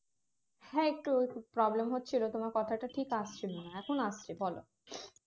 হ্যাঁ একটু problem হচ্ছিল তোমার কথাটা ঠিক আসছিল না এখন আসছে বলো